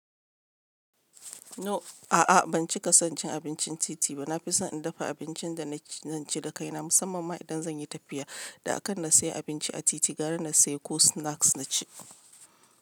No, a'a ban cika son cin abincin titi ba. Na fi son in dafa abincin da na ci da kaina musamman ma idan zan yi tafiya. Da a kan na sayi abinci a titi gara na sayi ko snacks na ci.